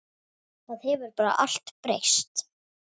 Það hefur bara allt breyst.